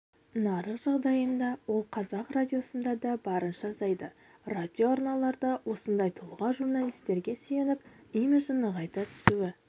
нарық жағдайында ол қазақ радиосында да барынша азайды радиоарналарда осындай тұлға журналистерге сүйеніп имиджін нығайта түсуі